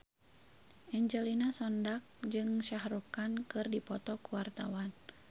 Angelina Sondakh jeung Shah Rukh Khan keur dipoto ku wartawan